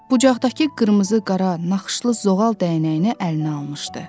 Bucaqdakı qırmızı qara naxışlı zoğal dəyənəyini əlinə almışdı.